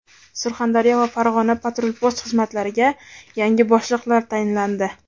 Surxondaryo va Farg‘ona patrul-post xizmatlariga yangi boshliqlar tayinlandi.